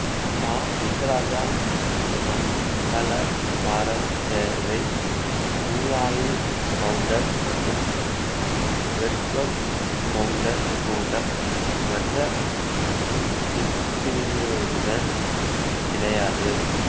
கா முத்துராஜாஅம்பலகாரர்சேர்வைஊராளி கவுண்டர் மற்றும் வேட்டுவக் கவுண்டர் போன்ற மற்ற உட்பிரிவினருடன் கிடையாது